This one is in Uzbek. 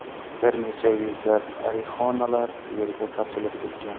Bir necha yuzlab arixonalar yerga sochilib ketgan.